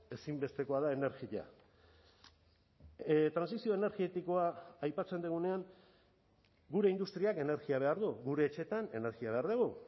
ezinbestekoa da energia trantsizio energetikoa aipatzen dugunean gure industriak energia behar du gure etxeetan energia behar dugu